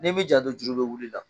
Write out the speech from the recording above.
N'i m'i janto juru bɛ wul'i la.